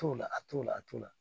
T'o la a t'o la a t'o la